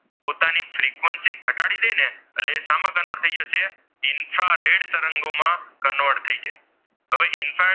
infrared તરંગોમાં convert થઈ જાય તો ભાઈ ઇન્ફ્રારેડ,